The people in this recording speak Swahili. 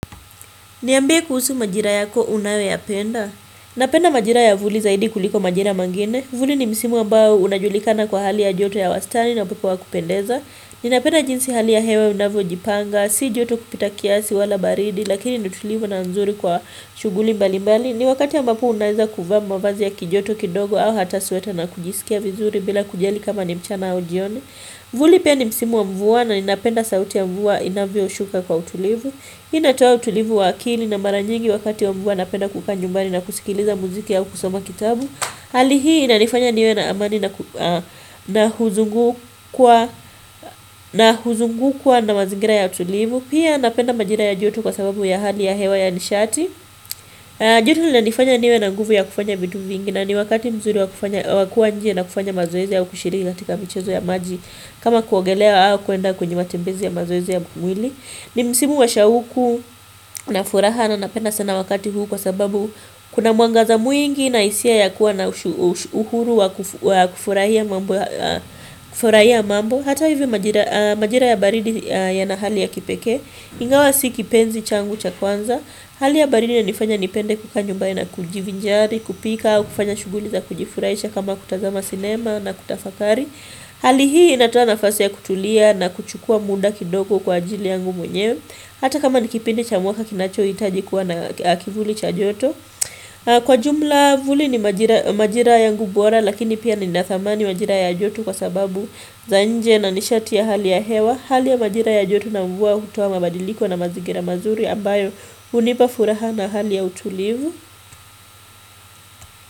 Niambie kuhusu majira yako unayo ya penda. Napenda majira ya vuli zaidi kuliko majira mengine. Vuli ni msimu ambao unajulikana kwa hali ya joto ya wastani na upepo wa kupendeza. Ninapenda jinsi hali ya hewa inavyo jipanga, si joto kupita kiasi wala baridi, lakini ni tulivu na nzuri kwa shuguli mbali mbali. Ni wakati ambapo unaeza kuvaa mavazi ya kijoto kidogo au hata sweta na kujisikia vizuri bila kujali kama ni mchana au jioni. Vuli pia ni msimu wa mvua na ninapenda sauti ya mvua inavyo shuka kwa utulivu. Hii inatoa utulivu wa akili na mara nyingi wakati wa mvua napenda kukaa nyumbani na kusikiliza muziki au kusoma kitabu Hali hii inanifanya niwe na amani na huzungukwa na mazingira ya utulivu Pia napenda majira ya joto kwa sababu ya hali ya hewa ya nishati joto linanifanya niwe na nguvu ya kufanya vitu vingi na ni wakati mzuri wakuwa nje na kufanya mazoezi au kushiriki katika michezo ya maji kama kuogelea au kuenda kwenye matembezi ya mazoezi ya mkumwili ni msimu wa shauku na furaha na napenda sana wakati huu kwa sababu kuna mwangaza mwingi na isia ya kuwa na uhuru wa kufurahia mambo. Hata hivyo majira ya baridi ya na hali ya kipekee. Ingawa si kipenzi changu cha kwanza. Hali ya baridi inanifanya nipende kukaa nyumbani na kujivinjari, kupika, kufanya shuguli za kujifurahisha kama kutazama sinema na kutafakari. Hali hii inatoa nafasi ya kutulia na kuchukua muda kidogo kwa ajili yangu mwenyewe Hata kama ni kipindi cha mwaka kinacho itaji kuwa na kivuli cha joto Kwa jumla vuli ni majira yangu bora lakini pia ni na thamani majira ya joto kwa sababu za nje na nishati ya hali ya hewa Hali ya majira ya joto na mvua utoa mabadiliko na mazigira mazuri ambayo unipa furaha na hali ya utulivu.